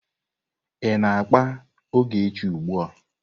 Ị na-akpa ogechi ugbu a.